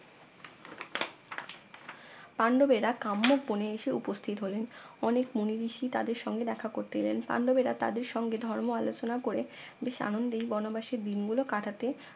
পাণ্ডব এরা কাম্য বনে এসে উপস্থিত হলেন অনেক মুনিঋষি তাদের সঙ্গে দেখা করতে এলেন পাণ্ডবেরা তাদের সঙ্গে ধর্ম আলোচনা করে বেশ আনন্দে বনবাসের দিনগুলো কাটাতে